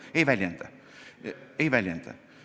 Ei väljenda, ei väljenda.